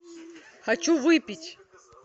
хочу выпить